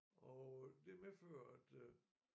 Og det medfører at øh